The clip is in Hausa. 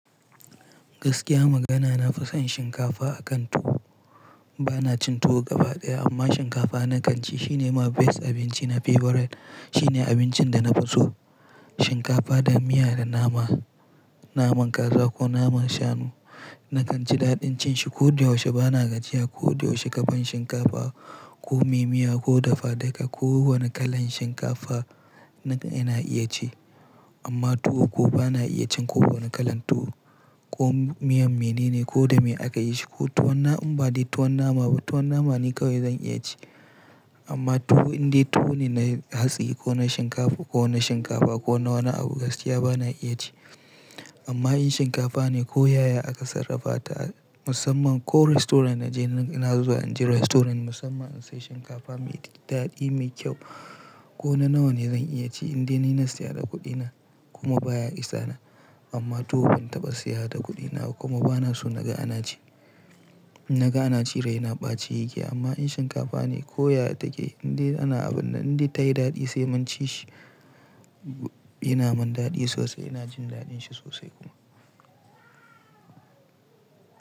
Gaskiya magana na fi son shinkafa akan tuwo. Ba na cin tuwo gaba ɗaya amma shinkafa na kan ci. Shi ne my best abinci, na favorite. Shi ne abincin da na fi so shinkafa da miya da nama, naman kaza ko naman shanu. Na kan ci daɗin cin shi ko da yaushe. Ba na gajiya ko da yaushe ka ban shinkafa ko mai miya ko dafa daka ko wane kalan shinkafa na, ina iya ci amma tuwo ko ba na iya cin ko wane kalan tuwo ko miyan mene ne ko da me aka yi shi ko tuwon nama. In ba dai tuwon nama ba, tuwon nama ne kawai zan iya ci amma tuwo indai tuwo ne na hatsi ko na shinkafu ko na shinkafa ko na wani abu gaskiya ba na iya ci. Amma in shinkafa ne ko yaya aka sarrafa ta musamman ko restaurant na je na zuba, in je restaurant musamman in sai shinkafa mai daɗi, mai kyau ko na nawa ne zan iya ci indai ina saya da kuɗina kuma baya isa na. Amma tuwo ban taɓa saya da kuɗina ba kuma ba na so naga ana ci. Naga ana ci rai na ɓace yake amma in shinkafa ne ko yaya take indai ana abun na indai tayi daɗi sai mun ci shi. Ina man daɗi sosai, ina jin daɗin shi sosai kuma.